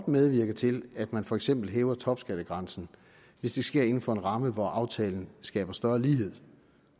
medvirke til at man for eksempel hæver topskattegrænsen hvis det sker inden for en ramme hvor aftalen skaber større lighed